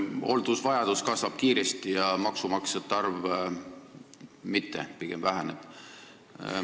Hooldusvajadus kasvab kiiresti, maksumaksjate arv mitte, see pigem väheneb.